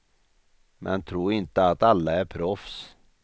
Men tro inte att alla är proffs.